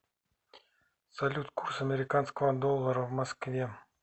салют курс американского доллара в москве